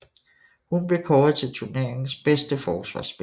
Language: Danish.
Hun blev kåret til turneringens bedste forsvarsspiller